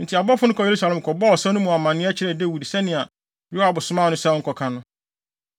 Enti abɔfo no kɔɔ Yerusalem kɔbɔɔ ɔsa no mu amanneɛ kyerɛɛ Dawid sɛnea Yoab somaa no sɛ ɔnkɔka no.